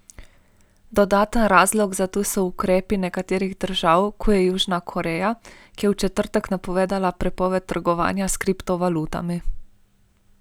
Dodaten razlog za to so ukrepi nekaterih držav, kot je Južna Koreja, ki je v četrtek napovedala prepoved trgovanja s kriptovalutami.